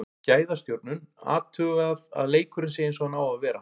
Gæðastjórnun, athugað að leikurinn sé eins og hann á að vera.